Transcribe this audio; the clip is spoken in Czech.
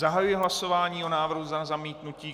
Zahajuji hlasování o návrhu na zamítnutí.